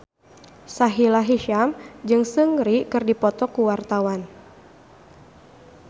Sahila Hisyam jeung Seungri keur dipoto ku wartawan